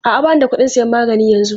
A'a, ba ni da kuɗin sayan magani yanzu.